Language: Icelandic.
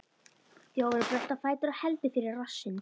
Þjófurinn bröltir á fætur og heldur fyrir rassinn.